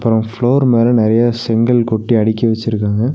அ floor மேல நெறைய செங்கல் கொட்டி அடுக்கி வச்சிருக்காங்க.